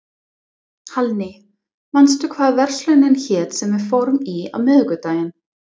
Hallný, manstu hvað verslunin hét sem við fórum í á miðvikudaginn?